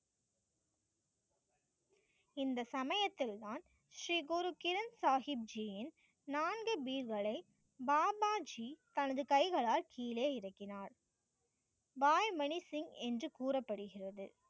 இந்த சமயத்தில் தான் ஸ்ரீ குரு கிரண் சாகிப் ஜியின் நான்கு பீயர்களை பாபா ஜி தனது கைகளால் கீழே இறக்கினர். பாய் மணி சிங் என்று கூறப்படுகிறது.